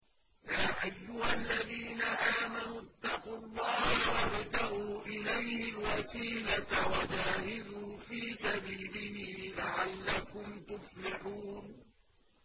يَا أَيُّهَا الَّذِينَ آمَنُوا اتَّقُوا اللَّهَ وَابْتَغُوا إِلَيْهِ الْوَسِيلَةَ وَجَاهِدُوا فِي سَبِيلِهِ لَعَلَّكُمْ تُفْلِحُونَ